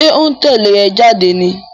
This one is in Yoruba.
Ṣó ń tẹ́lẹ̀ ẹ jáde ní?